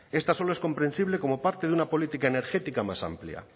esta solo es comprensible como parte de una política energética más amplia